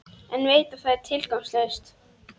En veit að það er tilgangslaust.